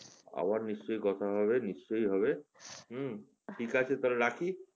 আবার নিশ্চয়ই কথা হবে নিশ্চয়ই হবে হুম ঠিক আছে তাহলে রাখি।